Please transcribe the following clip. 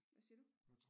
Hvad siger du?